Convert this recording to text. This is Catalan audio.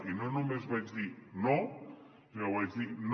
i no només vaig dir no sinó que vaig dir no